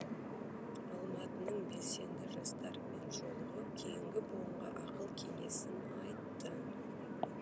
алматының белсенді жастарымен жолығып кейінгі буынға ақыл кеңесін айтты